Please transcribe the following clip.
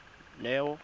neo